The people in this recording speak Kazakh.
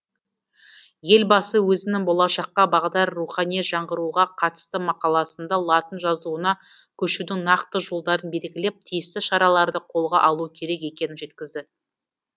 елбасы өзінің болашаққа бағдар рухани жаңғыруға қатысты мақаласында латын жазуына көшудің нақты жолдарын белгілеп тиісті шараларды қолға алу керек екенін жеткізді